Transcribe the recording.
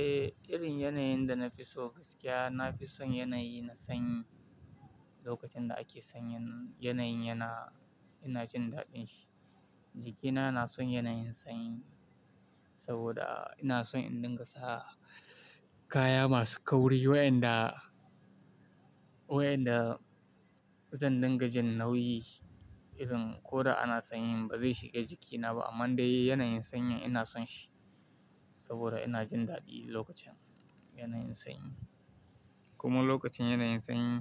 Eh, irin yanayin da na fi so gaskiya, na fi son yanayi na sanyi. Lokacin da ake sanyin yanayin yana, ina jin daɗin shi. Jiki na na son yanayin sanyi saboda ina son indin gasa kaya masu kauri wayanda, wayanda zandin gajin nauyi irin ko da ana sanyi ba zai shiga jikina ba. Amman dai yanayin sanyi ina son shi saboda ina jin daɗi lokacin yanayin sanyi. Kuma lokacin yanayin sanyi